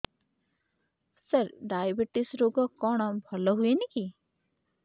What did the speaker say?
ସାର diabetes ରୋଗ କଣ ଭଲ ହୁଏନି କି